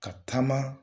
Ka taama